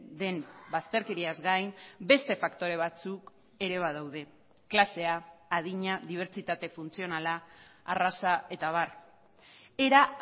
den bazterkeriaz gain beste faktore batzuk ere badaude klasea adina dibertsitate funtzionala arraza eta abar era